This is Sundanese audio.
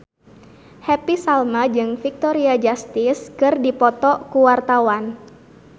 Happy Salma jeung Victoria Justice keur dipoto ku wartawan